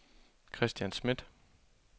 Kristian Smidt